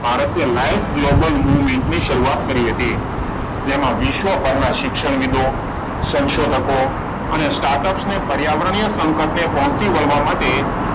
ભારતે live global moving ની શરૂઆત કરી હતી. તેમાં વિશ્વ ભરના શિક્ષણવિદો, સંશોધકો, અને સ્ટાટ અપ અને પર્યાવરણીય સંકટ ને પહોચી વળવા માટે,